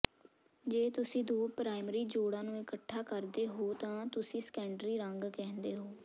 ਜੇ ਤੁਸੀਂ ਦੋ ਪ੍ਰਾਇਮਰੀ ਜੋੜਾਂ ਨੂੰ ਇਕੱਠਾ ਕਰਦੇ ਹੋ ਤਾਂ ਤੁਸੀਂ ਸੈਕੰਡਰੀ ਰੰਗ ਕਹਿੰਦੇ ਹੋ